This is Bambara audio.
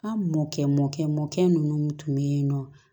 An mɔkɛ mɔkɛ mɔkɛ nunnu tun bɛ yen nɔ